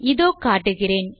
இதோ காட்டுகிறேன்